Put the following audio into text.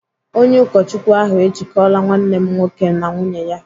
Onye ụkọchukwu ahụ ejikọla nwanne m nwoke na nwunye ya.